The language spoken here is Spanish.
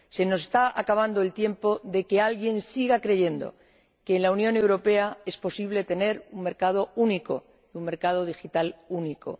Se nos está acabando el tiempo de que alguien siga creyendo que en la Unión Europea es posible tener un mercado único, un mercado digital único.